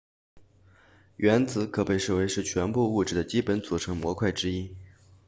原子可被视为是全部物质的基本组成模块之一